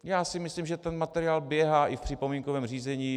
Já si myslím, že ten materiál běhá i v připomínkovém řízení.